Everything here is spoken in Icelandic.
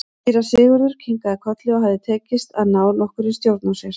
Síra Sigurður kinkaði kolli og hafði tekist að ná nokkurri stjórn á sér.